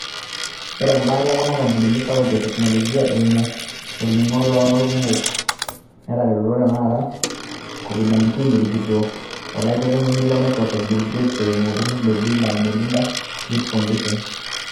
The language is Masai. Ore embata e kuna kampunini sapuki e teknoloji, eimu olning'o loolkumok, netaretutuo tenara nagilunoreki Covid-19, erikito olaiterunoni le Microsoft Bill Gates eimu olturur le Bill & Melinda Gates Foundation.